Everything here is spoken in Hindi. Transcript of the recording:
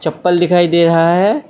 चप्पल दिखाई दे रहा है।